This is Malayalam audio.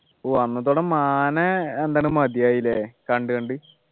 ഓ അന്നത്തോടെ മാനെ എന്താണ് മതിയായി ല്ലേ കണ്ടു കണ്ടു